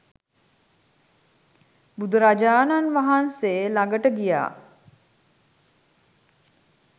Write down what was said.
බුදුරජාණන් වහන්සේ ලඟට ගියා